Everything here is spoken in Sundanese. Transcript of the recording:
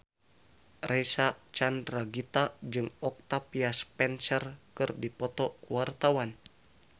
Reysa Chandragitta jeung Octavia Spencer keur dipoto ku wartawan